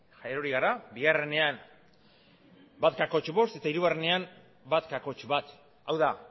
erori gara bigarrenean bat koma bost eta hirugarrenean bat koma bat hau da